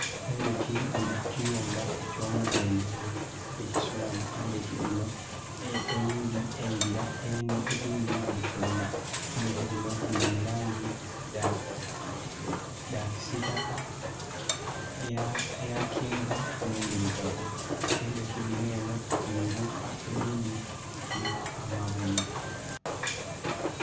Endhoki dhili ku kiyumba eky'omudhenhenhe, ekisulamu endhoki dhino. Eyindi engila, endhindhi dhifuluma. Endhoki dhino dhili mu langi dha kisiitaka, eyakyenvu n'endhirugavu. Endhoki dhino eno dhili buuka, edhindhi dhiliku amaviiri.